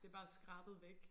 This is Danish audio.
Det bare skrabet væk